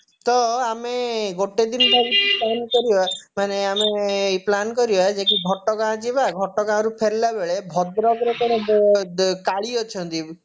ତ ଆମେ ଗୋଟେ ଦିନ ଭାବୁଛୁ plan କରିବା ମାନେ ଆମେ plan କରିବବା ଯେଇକି ଘଟଗାଁ ଯିବା ଘଟଗାଁରୁ ଫେରିଲାବେଳେ ଭଦ୍ରକର କଣ ଆଁ କାଳୀ ଅଛନ୍ତି